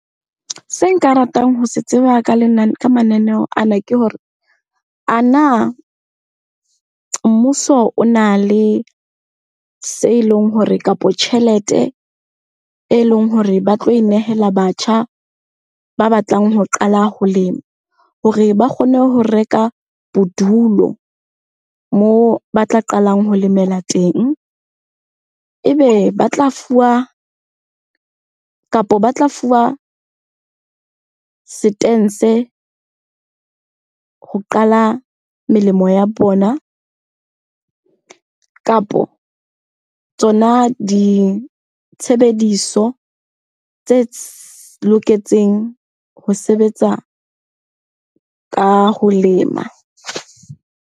Se nka ratang ho se tseba ka ka mananeho ana ke hore, ana mmuso o na le se leng hore kapo tjhelete e leng hore ba tlo e nehela batjha ba batlang ho qala ho lema? hore ba kgone ho reka bodulo moo ba tla qalang ho lemela teng. Ebe ba tla fuwa, kapo ba tla fuwa setense ho qala melemo ya bona kapo tsona ditshebediso tse loketseng ho sebetsa ka ho lema.